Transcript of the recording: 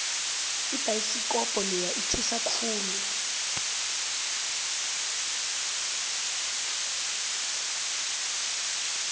ibhayisikobho leya ithusa khulu